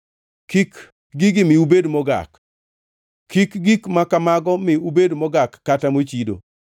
Kik gigi mi ubed mogak. Kik gik ma kamago mi ubed mogak kata mochido.